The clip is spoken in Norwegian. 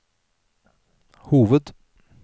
hoved